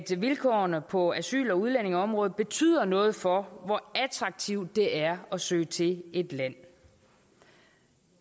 vilkårene på asyl og udlændingeområdet betyder noget for hvor attraktivt det er at søge til et land